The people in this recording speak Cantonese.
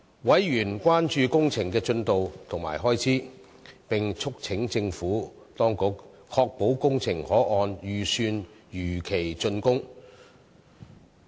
委員關注工程的進度及開支，並促請政府當局確保工程可按預算如期竣工。